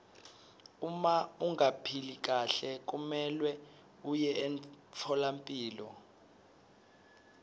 uma ungaphili kahle kumelwe uye emtfolampilo